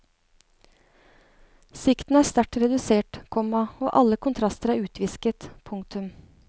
Sikten er sterkt redusert, komma og alle kontraster er utvisket. punktum